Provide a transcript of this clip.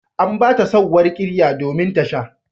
An ba ta sauwar ƙirya domin ta sha.